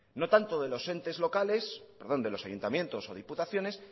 no tanto de los ayuntamientos o diputaciones